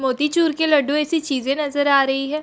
मोतीचूर के लड्डू है ऐसी चींज़े नजर आ रही है।